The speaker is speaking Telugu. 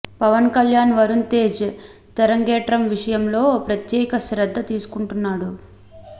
పవన్ కళ్యాణ్ వరుణ్ తేజ్ తెరగ్రేతం విషయంలో ప్రత్యేక శ్రద్ధ తీసుకుంటున్నాడు